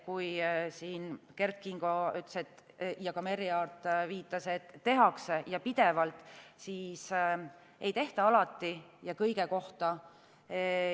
Kui Kert Kingo ütles ja ka Merry Aart viitas, et tehakse ja pidevalt, siis ei tehta alati ja mitte kõige kohta.